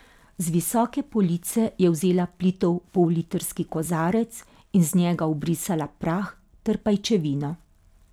Z visoke police je vzela plitev pollitrski kozarec in z njega obrisala prah ter pajčevino.